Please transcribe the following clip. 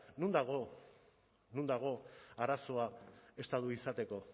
non dago non dago arazoa estatu izateko